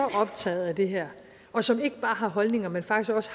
optaget af det her og som ikke bare har holdninger men faktisk